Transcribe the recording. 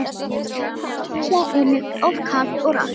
Loftslagið einnig of kalt og rakt.